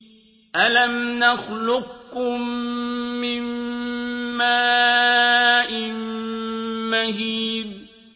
أَلَمْ نَخْلُقكُّم مِّن مَّاءٍ مَّهِينٍ